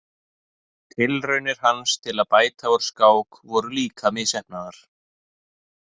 Tilraunir hans til að bæta úr skák voru líka misheppnaðar.